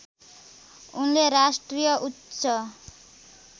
उनले राष्ट्रिय उच्च